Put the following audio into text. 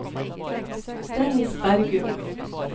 Dennis Bergum